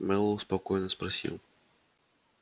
мэллоу спокойно спросил